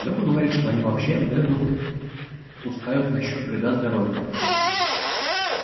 лёха говорит что они вообще дезу пускают насчёт вреда здоровью